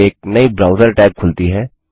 एक नई browser tab खुलती है